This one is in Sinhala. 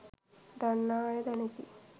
දන්නා අය දනිති